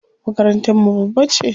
Makarantar mu babba ce.